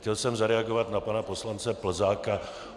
Chtěl jsem zareagovat na pana poslance Plzáka.